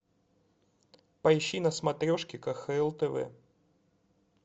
поищи на смотрешке кхл тв